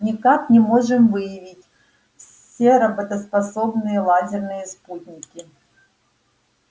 никак не можем выявить все работоспособные лазерные спутники